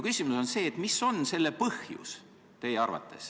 Mis on teie arvates selle põhjus?